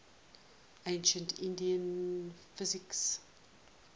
ancient indian physicians